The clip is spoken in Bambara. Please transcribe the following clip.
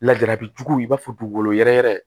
Lajarabi jugu i b'a fɔ dugukolo yɛrɛ yɛrɛ